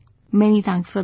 Many thanks for that